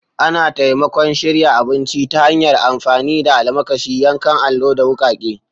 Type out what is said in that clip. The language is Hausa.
Ana taimakon shirya abinci ta hanyar amfani da almakashi, yankan allo, da wukake.